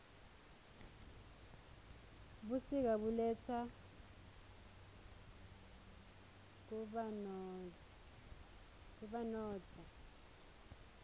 busika buletsa kubanotza